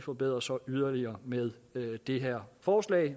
forbedres yderligere med det her forslag